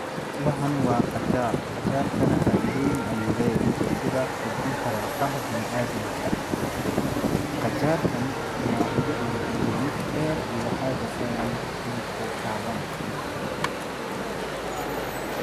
Waxani wa qajaar qajaarkana faaidooyin ayuu leyahay, sida kobcinta lafaha biniaadamka, qajaarkani noocyo ayuu leyahay mid dheer iyo waxaa jirta midko gaaban.